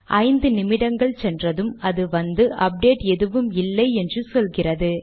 ஐந்து நிமிடங்கள் சென்றதும் அது வந்து அப்டேட் எதுவும் இல்லை என்று சொல்கிறது